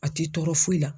A ti tɔɔrɔ foyi la